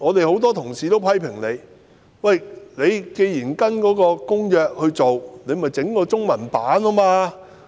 很多同事批評，既然政府要實施《公約》的規定，便應該製備中文本。